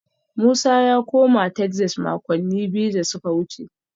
Musa ya koma Texas makonni biyu da suka wuce